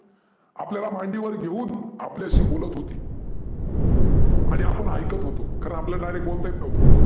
आपल्याला मांडीवर घेऊन आपल्याशी बोलत होती. आणि आपण ऐकत होतो. कारन आपल्याला direct बोलता येत नव्हतं.